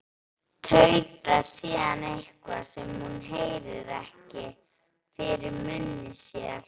Tautar síðan eitthvað, sem hún heyrir ekki, fyrir munni sér.